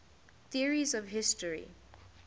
theories of history